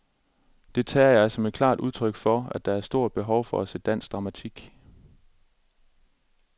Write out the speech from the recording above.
Det tager jeg som et klart udtryk for, at der er stort behov for at se dansk dramatik.